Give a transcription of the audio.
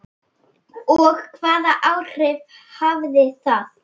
Og hvaða áhrif hafði það?